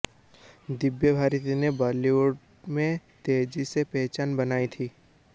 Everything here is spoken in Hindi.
दिव्या भारती ने बॉलीवुड में तेजी से पहचान बनाई थी